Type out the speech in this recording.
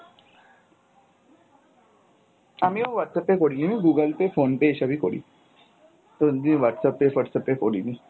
আমিও Whatsapp Pay করিনি, আমি Google Pay, Phone Pay এসবই করি, কোনদিন whatsapp pay whats app pay করিনি।